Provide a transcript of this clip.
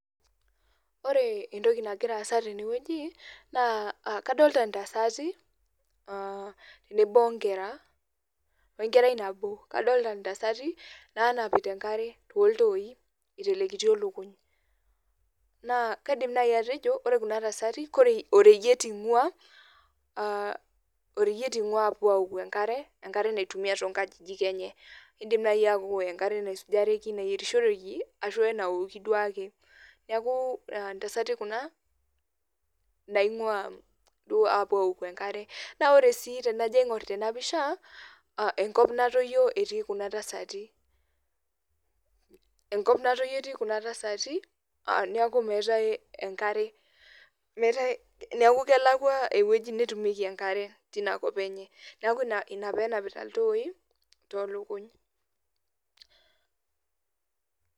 Ore entoki nagira aasa tenewueji na kadolta ntasati tenebo enakerai nabo kadolta ntasati nanapita enkare toltoi itelekitio enkoriong kaidimbatejo ore kuja tasati na oreyiet ingua apuo aaoku enkare naitumia to kankajijik enye kidim ataa enkare naisujishoreki arashu enkare naoki neaku ntasati kuna naingua apuo aoku enkare na ore si tanajo aingur enaare enkop natoyio etii kuna tasati neaku kelakwa ewoi natumiekibenkare tinakop enye neaku inapenapita ltoi tolukuny.